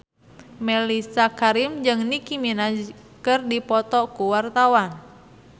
Mellisa Karim jeung Nicky Minaj keur dipoto ku wartawan